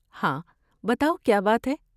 ہاں، بتاؤ کیا بات ہے؟